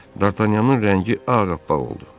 Dartanyanın rəngi ağappaq oldu.